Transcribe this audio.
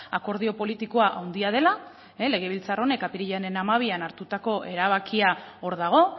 akordio politikoa handia dela legebiltzar honek apirilaren hamabian hartutako erabakia hor dago